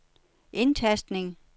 indtastning